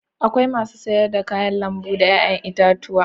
Akwai masu sayar da kayan lambu da 'ya'yan itatuwa.